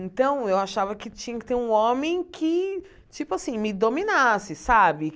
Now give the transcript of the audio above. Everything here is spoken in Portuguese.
Então, eu achava que tinha que ter um homem que, tipo assim, me dominasse, sabe?